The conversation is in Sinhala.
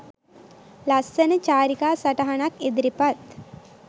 ලස්සන චාරිකා සටහනක් ඉදිරිපත්